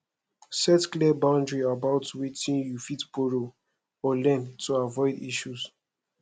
set clear boundary about wetin you fit borrow or lend to avoid issues